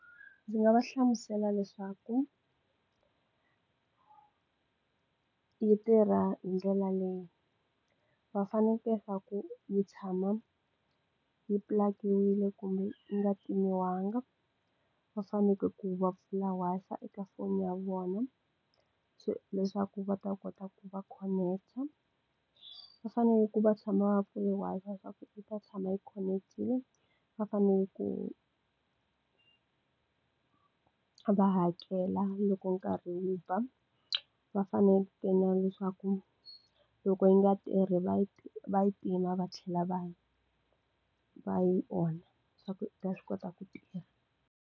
Ndzi nga va hlamusela leswaku yi tirha hi ndlela leyi va faneke ku yi tshama yi pulakiwini kumbe yi nga ti timiwanga va faneke ku va pfula Wi-Fi eka foni ya vona leswaku va ta kota ku va connect va fanele ku va tshama va vuriwaka leswaku i ta tshama yi khoneketile va fanele ku va hakela loko nkarhi wu ba va faneke na leswaku loko yi nga tirhi va va yi tima va tlhela va va yi ona leswaku yi ta swi kota ku tirha.